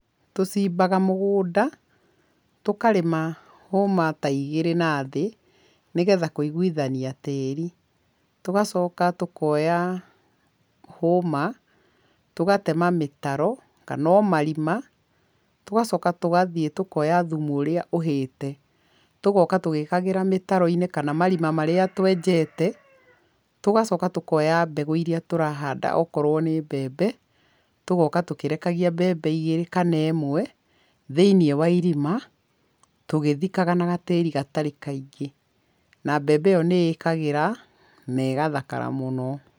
Tũcimbaga mũgũnda, tũkarĩma hũma ta igĩrĩ na thĩ nĩ getha kũiguithania tĩri. Tũgacoka tũkoya hũma, tũgatema mĩtaro kana o marima, tũgacoka tũgathiĩ tũkoya thumu ũrĩa ũhĩĩte, tũgoka tũgĩkagĩra mĩtaro-inĩ kana marima marĩa twenjete, tũgacoka tũkoya mbegũ iria tũrahanda okorwo nĩ mbembe tũgoka tũkĩrekagia mbembe igĩrĩ kana ĩmwe thĩiniĩ wa irima tũgĩthikaga na gatĩri gatarĩ kaingĩ na mbembe ĩyo nĩĩkagĩra na ĩgathakara mũno.